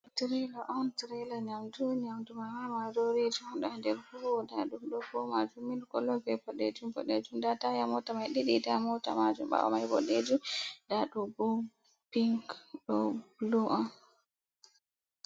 Trela on trela nyamdu nyamdu manma maroriji ɗuɗa ha nder ɓuwo nda ɗum ɗofu majum milk kolo be boɗejum-boɗejum, nda taya mota mai ɗiɗi taya mota majum ɓawo mai bodejum nda ɗobo pink ɗo blu on.